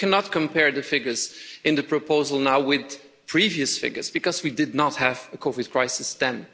And we cannot compare the figures in the proposal now with previous figures because we did not have a COVID crisis then.